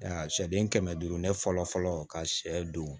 Aa sɛden kɛmɛ duuru ne fɔlɔ fɔlɔ ka sɛ don